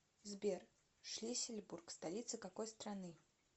сбер шлиссельбург столица какой страны